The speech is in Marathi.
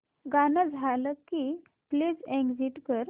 गाणं झालं की प्लीज एग्झिट कर